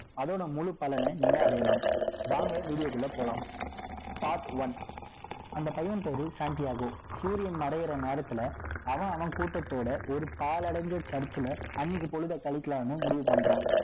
அதோட முழு பலனை நீங்க அடையலாம் வாங்க video க்குள்ள போலாம் part one அந்த பையன் பேரு Santiago சூரியன் மறையிற நேரத்துல அவன் அவன் கூட்டத்தோட ஒரு பாழடைஞ்ச church ல அன்னைக்கு பொழுதை கழிக்கலாம்ன்னு முடிவு பண்றான்